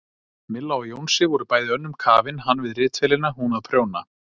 Milla og Jónsi voru bæði önnum kafin, hann við ritvélina, hún að prjóna.